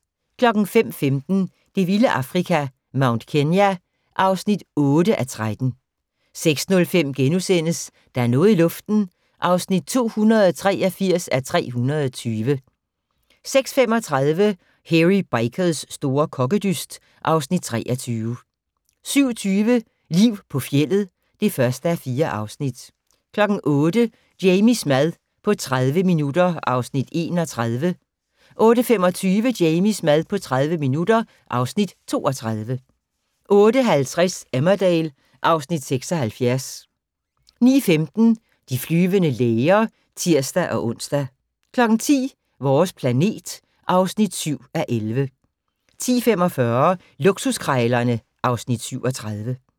05:15: Det vilde Afrika - Mount Kenya (8:13) 06:05: Der er noget i luften (283:320)* 06:35: Hairy Bikers' store kokkedyst (Afs. 23) 07:20: Liv på fjeldet (1:4) 08:00: Jamies mad på 30 minutter (Afs. 31) 08:25: Jamies mad på 30 minutter (Afs. 32) 08:50: Emmerdale (Afs. 76) 09:15: De flyvende læger (tir-ons) 10:00: Vores planet (7:11) 10:45: Luksuskrejlerne (Afs. 37)